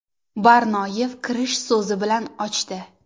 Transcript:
Barnoyev kirish so‘zi bilan ochdi.